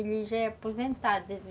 Ele já é aposentado.